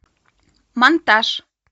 монтаж